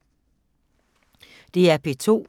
DR P2